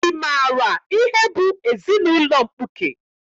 Ị maara ihe bụ ezinaụlọ mkpuke?